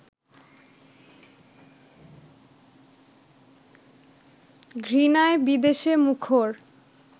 ঘৃণায়-বিদ্বেষে মুখর